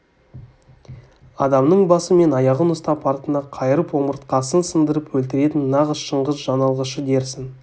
адамның басы мен аяғын ұстап артына қайырып омыртқасын сындырып өлтіретін нағыз шыңғыс жаналғышы дерсің